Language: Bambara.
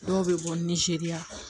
Dɔw bɛ bɔ nizeriya